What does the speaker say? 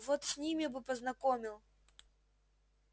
вот с ними бы познакомил